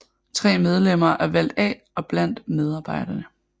Tre medlemmer er valgt af og blandt medarbejderne